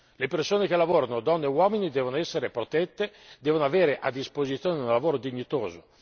Le persone che lavorano, donne e uomini, devono essere protette, devono avere a disposizione un lavoro dignitoso.